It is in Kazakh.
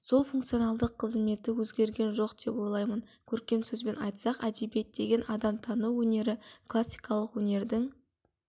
сол функционалдық қызметі өзгерген жоқ деп ойлаймын көркем сөзбен айтсақ әдебиет деген адамтану өнері классикалық өнердің